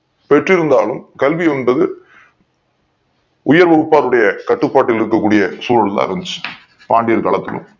பெற்றிருந்தாலும் கல்வி என்பது உயர் வகுப்பார் உடைய கட்டுப் பாட்டில் இருக்கக் கூடிய சூழல் எல்லாம் இருந்துச்சு பாண்டியர் காலத்திலும்